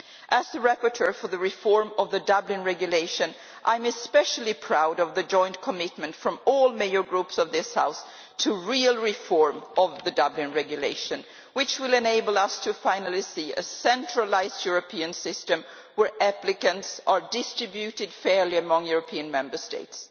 As the rapporteur for the reform of the Dublin Regulation, I am especially proud of the joint commitment from all major political groups in this House to real reform of the Dublin Regulation, which will enable us finally to see a centralised European system where applicants are distributed fairly among EU Member States.